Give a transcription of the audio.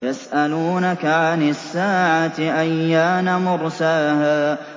يَسْأَلُونَكَ عَنِ السَّاعَةِ أَيَّانَ مُرْسَاهَا